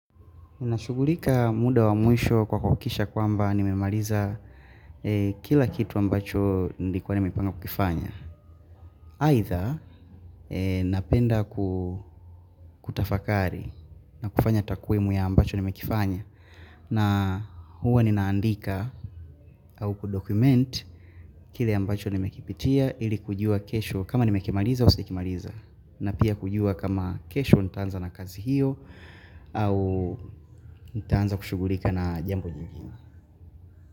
Nashughulika muda wa mwisho kwa kuhakikisha kwamba nimemaliza kila kitu ambacho nilikuwa nimepanga kukifanya. Aidha napenda kutafakari, na kufanya takiwmu ya ambacho nimekifanya na huwa ninaandika au kudokument kile ambacho nimekipitia ili kujua kesho kama nimekimaliza au sijakimaliza. Na pia kujua kama kesho nitaanza na kazi hiyo ama au nitaanza kushughulika na jambo jingine.